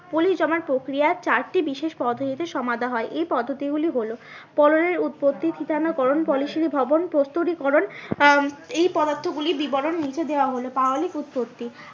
পলি জমার প্রকৃয়ার চারটি বিশেষ পদ্ধতি হয় এই পদ্ধতি গুলি হলো। পললের উৎপত্তি থেকে আমরা ভ্রমণ প্রস্তুতি করণ আহ এই পদার্থ গুলি বিবরণ লিখে দেওয়া হলো পাললিক উৎপত্তি